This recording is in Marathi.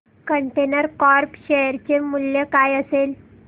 कंटेनर कॉर्प शेअर चे मूल्य काय असेल